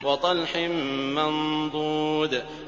وَطَلْحٍ مَّنضُودٍ